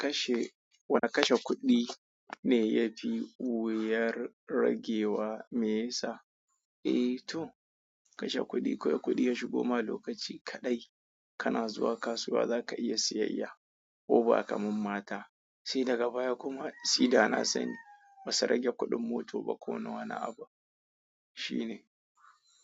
Kashe, wane kashe kuɗi ne yafi wuyar ragewa me yasa? Eh to kashe kuɗi, kawai kuɗi ya shigoma lokaci kaɗai kana zuwa kasuwa zaka iya siyayya ko ba ka mammata. Sai daga baya kuma, suyi da na sani ba su rage kuɗin mota ba ko nawa ni abu. Shi ne.